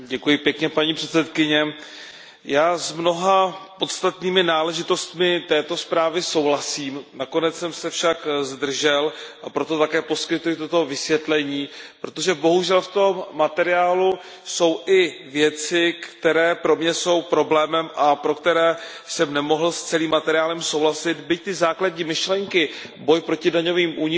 Paní předsedající, já s mnoha podstatnými náležitostmi této zprávy souhlasím, nakonec jsem se však zdržel, a proto také poskytuji toto vysvětlení. Protože bohužel v tom materiálu jsou i věci, které pro mě jsou problémem a pro které jsem nemohl s celým materiálem souhlasit, byť se základními myšlenkami boj proti daňovým únikům